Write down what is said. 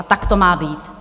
A tak to má být.